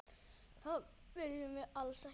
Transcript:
Það viljum við alls ekki.